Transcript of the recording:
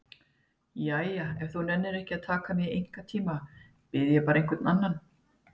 Jæja, ef þú nennir ekki að taka mig í einkatíma bið ég bara einhvern annan.